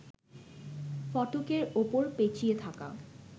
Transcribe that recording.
ফটকের ওপর পেঁচিয়ে থাকা